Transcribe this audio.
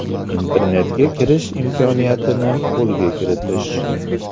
Internetga kirish imkoniyatini qo‘lga kiritish.